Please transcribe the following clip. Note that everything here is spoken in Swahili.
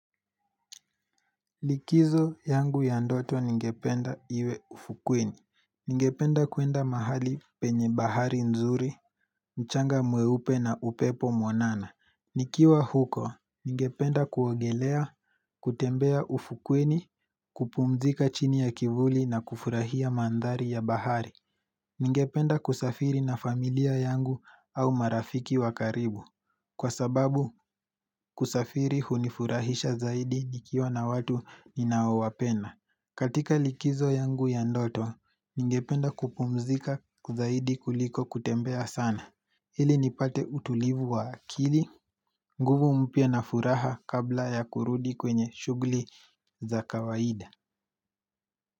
Likizo yangu ya ndoto ningependa iwe ufukwini. Ningependa kuenda mahali penye bahari nzuri, mchanga mweupe na upepo mwanana. Nikiwa huko, ningependa kuogelea, kutembea ufukwini, kupumzika chini ya kivuli na kufurahia mandhari ya bahari. Ningependa kusafiri na familia yangu au marafiki wakaribu. Kwa sababu kusafiri hunifurahisha zaidi nikiwa na watu ninaowapenda katika likizo yangu ya ndoto, ningependa kupumzika zaidi kuliko kutembea sana Hili nipate utulivu wa akili nguvu mpya na furaha kabla ya kurudi kwenye shughuli za kawaida.